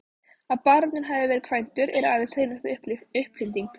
Að baróninn hafi verið kvæntur er aðeins hreinasta uppfinding.